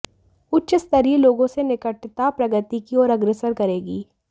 उच्चस्तरीय लोगों से निकटता प्रगति की ओर अग्रसर करेगी